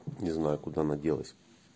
не знаю куда она делась